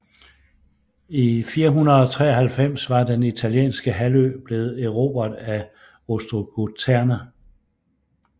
I 493 var den italienske halvø blevet erobret af ostrogoterne